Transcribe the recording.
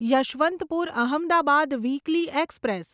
Yesvantpur Ahmedabad weekly express